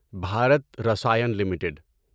Bharat Rasayan limited